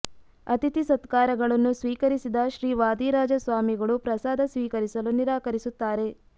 ಅತಿಥಿ ಸತ್ಕಾರಗಳನ್ನು ಸ್ವೀಕರಿಸಿದ ಶ್ರೀ ವಾದಿರಾಜ ಸ್ವಾಮಿಗಳು ಪ್ರಸಾದ ಸ್ವೀಕರಿಸಲು ನಿರಾಕರಿಸುತ್ತಾರೆ